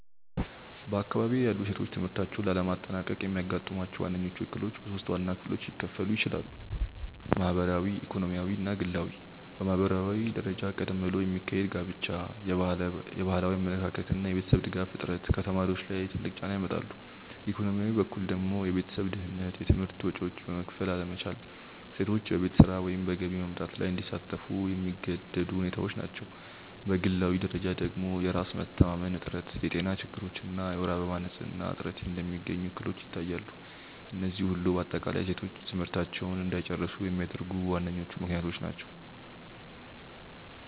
በአካባቢዬ ያሉ ሴቶች ትምህርታቸውን ላለማጠናቀቅ የሚያጋጥሟቸው ዋነኞቹ እክሎች በሶስት ዋና ክፍሎች ሊከፈሉ ይችላሉ። ማህበራዊ፣ ኢኮኖሚያዊ እና ግላዊ። በማህበራዊ ደረጃ ቀደም ብሎ የሚካሄድ ጋብቻ፣ የባህላዊ አመለካከት እና የቤተሰብ ድጋፍ እጥረት ከተማሪዎች ላይ ትልቅ ጫና ያመጣሉ፤ ኢኮኖሚያዊ በኩል ደግሞ የቤተሰብ ድህነት፣ የትምህርት ወጪዎችን መክፈል አለመቻል እና ሴቶች በቤት ስራ ወይም በገቢ ማምጣት ላይ እንዲሳተፉ የሚገደዱ ሁኔታዎች ናቸው፤ በግላዊ ደረጃ ደግሞ የራስ መተማመን እጥረት፣ የጤና ችግሮች እና የወር አበባ ንፅህና እጥረት እንደሚገኙ እክሎች ይታያሉ፤ እነዚህ ሁሉ በአጠቃላይ ሴቶች ትምህርታቸውን እንዳይጨርሱ የሚያደርጉ ዋነኞቹ ምክንያቶች ናቸው።